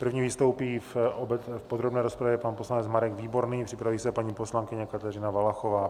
První vystoupí v podrobné rozpravě pan poslanec Marek Výborný, připraví se paní poslankyně Kateřina Valachová.